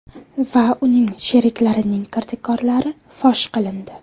va uning sheriklarining kirdikorlari fosh qilindi.